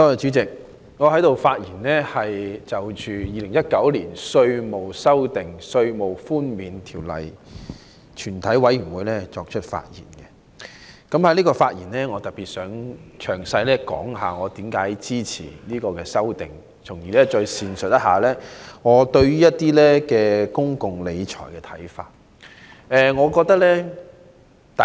主席，我想藉着是次在《2019年稅務條例草案》全體委員會審議階段的發言，詳細說明我為何支持當局的修正案，以及闡述我對公共理財的看法。